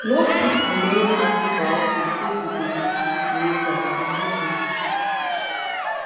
no keep remaining antibiotics say you go use later e no good